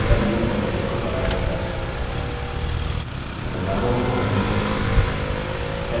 नया data मूल formatting को बनाए रखता है बदलावों को undo करें